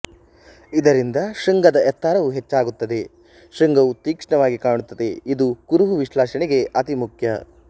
ಇದರಿಂದ ಶೃಂಗದ ಎತ್ತರವೂ ಹೆಚ್ಚಾಗುತ್ತದೆ ಶೃಂಗವು ತೀಕ್ಷ್ಣವಾಗಿ ಕಾಣುತ್ತದೆ ಇದು ಕುರುಹು ವಿಶ್ಲೇಷಣೆಗೆ ಅತಿ ಮುಖ್ಯ